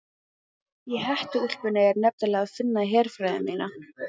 Í hettuúlpunni er nefnilega að finna herfræði mína.